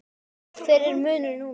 Hver er munurinn núna?